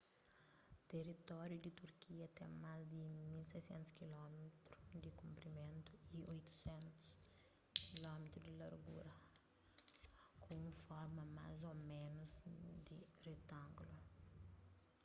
teritóriu di turkia ten más di 1.600 km di konprimentu y 800 km di largura ku un forma más ô ménus di retángulu